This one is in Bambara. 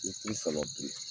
I k'i sabati